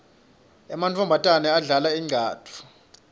emantfombatane adlala incatfu